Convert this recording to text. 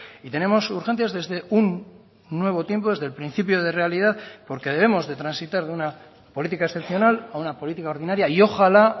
y tenemos urgencias desde un nuevo tiempo desde el principio de realidad porque debemos de transitar de una política excepcional a una política ordinaria y ojalá